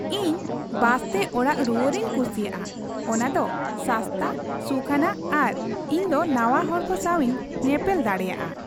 ᱤᱧ ᱵᱟᱥᱛᱮ ᱚᱲᱟᱜ ᱨᱩᱣᱟᱹᱲᱤᱧ ᱠᱩᱥᱤᱭᱟᱜᱼᱟ ᱾ ᱚᱱᱟ ᱫᱚ ᱥᱟᱥᱛᱟ, ᱥᱩᱠᱷᱟᱱᱟᱜ ᱟᱨ ᱤᱧ ᱫᱚ ᱱᱟᱣᱟ ᱦᱚᱲᱠᱚ ᱥᱟᱸᱣᱤᱧ ᱧᱮᱯᱮᱞ ᱫᱟᱲᱮᱭᱟᱜᱼᱟ ᱾